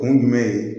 Kun jumɛn ye